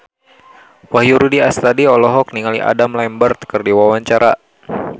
Wahyu Rudi Astadi olohok ningali Adam Lambert keur diwawancara